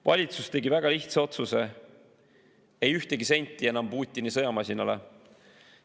Valitsus tegi väga lihtsa otsuse: ei ühtegi senti enam Putini sõjamasinale.